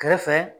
Kɛrɛfɛ